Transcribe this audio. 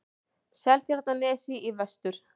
Seltjarnarnesi í vestur.